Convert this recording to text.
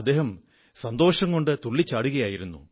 അദ്ദേഹം സന്തോഷം കൊണ്ട് തുള്ളിച്ചാടുകയായിരുന്നു